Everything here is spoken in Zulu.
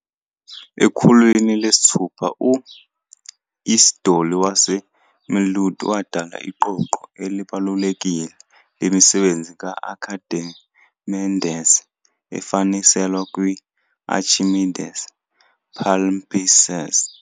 Ekhulwini lesithupha, u-Isidoli waseMilitu wadala Iqoqo elibalulekile lemisebenzi ka-Akhimendesi efaniselwe kwi-"Archimedes Palimpsest".